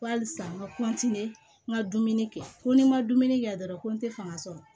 Halisa n ka n ka dumuni kɛ ko ni n ma dumuni kɛ dɔrɔn ko n tɛ fanga sɔrɔ